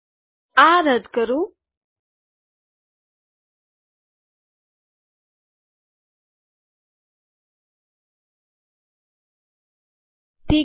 આ રદ કરું ઠીક છે